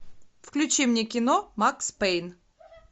включи мне кино макс пэйн